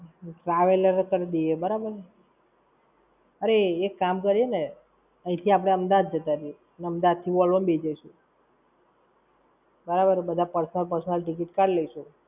તો traveller જ કરદીએ બરાબર? અરે એક કામ કરીયે ને, અઈં થી આપડે અમદાવાદ જતા રઈએ, ને અમદાવાદ થી Vovlo માં બેઈ જઈશું. બરાબર ને? બધા personal personal ticket કાઢી લઈશું.